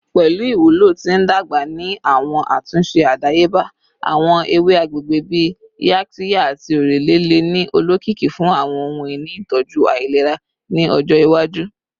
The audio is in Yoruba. Pẹlu iwulo ti ndagba ni awọn atunṣe adayeba, awọn ewe agbegbe bii yaxiya ati orele le ni olokiki fun awọn ohun-ini itọju ailera ni ọjọ iwaju.